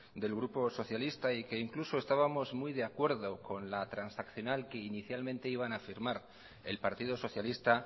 del grupo socialista y que incluso estábamos muy de acuerdo con la transaccional que inicialmente iban a firmar el partido socialista